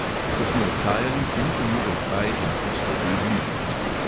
Ko smo odhajali, si nisem mogel kaj in sem stopil bliže.